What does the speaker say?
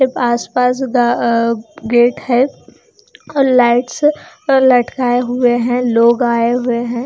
आस पास गा अ गेट है और लाईट्स अ लटकाये हुए है लोग आये हुए हैं।